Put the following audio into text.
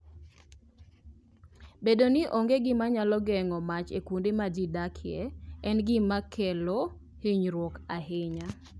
Bedo ni onge gima nyalo geng'o mach e kuonde ma ji odakie, en gima kelo hinyruok ahinya.